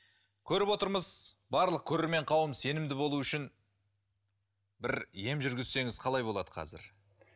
көріп отырмыз барлық көрермен қауым сенімді болуы үшін бір ем жүргізсеңіз қалай болады қазір